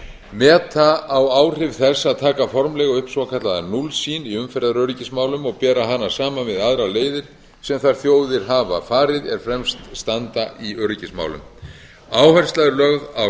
meta á áhrif þess að taka formlega upp svokallaða núllsýn í umferðaröryggismálum og bera hana saman við aðrar leiðir sem þær þjóðir hafa farið er fremst standa í öryggismálum áhersla er lögð á